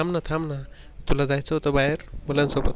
अरे थांबणा थांबणा तुला जायचं होत बाहेर मुलांसोबत